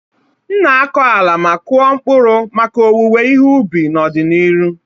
M na-akọ ala ma kụọ mkpụrụ maka owuwe ihe ubi n'ọdịnihu.